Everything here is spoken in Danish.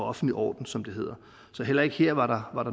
offentlige orden som det hedder så heller ikke her var der